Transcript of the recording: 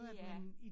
Det er